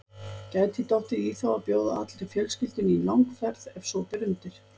Gæti dottið í þá að bjóða allri fjölskyldunni í langferð ef svo ber undir.